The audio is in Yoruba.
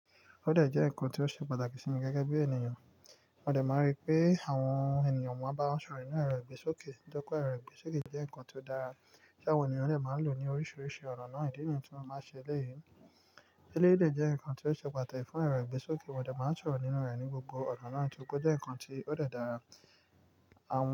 Òde jẹ́ ǹkan tó ṣe pàtàkì sí mi gẹ́gẹ́ bí ènìyàn. Òde máa ń rí pé àwọn ènìyàn máa bá wọn sọ̀rọ̀ nínú èrò ìgbésókè. Tí ó kó èrò ìgbésókè jẹ́ ǹkan tó dára tí àwọn ènìyàn lè máa lò ní oríṣiríṣi ọ̀nà ìdí nìyí tí wọ́n máa ṣe lẹ́yìn. Eléyìí lè jẹ́ ǹkan tó ṣe pàtàkì fún èrò ìgbésókè, òde máa ń sọ̀rọ̀ nínú rẹ̀ ní gbogbo ọ̀nà náà tí ó kó jẹ́ ǹkan tí ó dára. Àún.